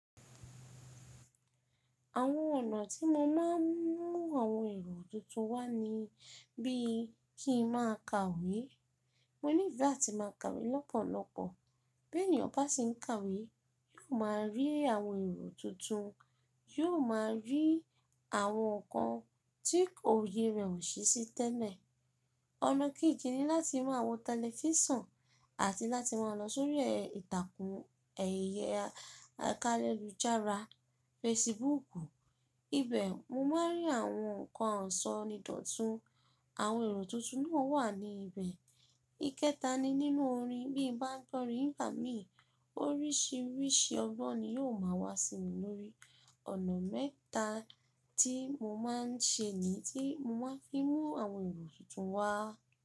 Àwọn ọ̀nà tí mo máa ń mú àwọn èrò tuntun wá ni bí kí n máa kàwé. Mo ní ìfẹ́ àti máa kàwé lọ́pọ̀lọ́pọ̀. Bí ènìyàn bá sì ń kàwé, yóò máa rí àwọn èrò tuntun, yóò máa rí àwọn nǹkan tí òye rẹ̀ ò ṣe sí tẹ́lẹ̀. Ọ̀nà kejì ni láti mú àwọn tẹlifíṣàn àti láti máa lọ sórí ìtàkùn ẹ̀yẹ akálẹ́ loju jara, Facebookù, ibẹ̀ mo máa ń rí àwọn nǹkan ọ̀ṣọ́ ni dọ̀tun, àwọn èrò tuntun náà wà ní ibẹ̀. Ikẹta ni nínú orin. Bí mo bá ń tọrì, nígbà mí oríṣìíríṣìí ọgbọ́n ni yóò máa wá sí mi lórí. Ọ̀nà mẹ́ta tí mo máa ń ṣe ni tí mo máa fi mú àwọn èrò tuntun wá.